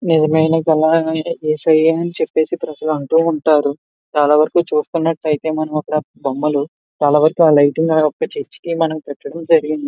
నిజమైన యేసయ్య అని ప్రజలంటూ ఉంటారు. చాలావరకు చూసుకున్నట్లయితే మనం అక్కడ బొమ్మలు మరియు లైట్లు అక్కడ చర్చి కి పెట్టడం జరిగింది.